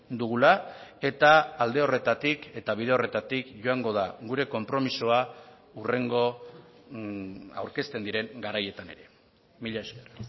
dugula eta alde horretatik eta bide horretatik joango da gure konpromisoa hurrengo aurkezten diren garaietan ere mila esker